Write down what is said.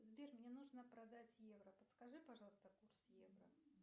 сбер мне нужно продать евро подскажи пожалуйста курс евро